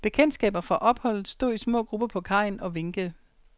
Bekendtskaber fra opholdet stod i små grupper på kajen og vinkede.